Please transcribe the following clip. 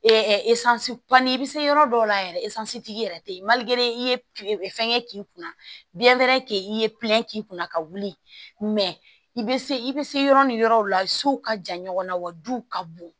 i bɛ se yɔrɔ dɔw la yɛrɛ tigi yɛrɛ tɛ ye i ye fɛngɛ k'i kunna biyɛn k'i ye k'i kunna ka wuli i bɛ se i bɛ se yɔrɔ ni yɔrɔw la sow ka jan ɲɔgɔnna wa du ka bon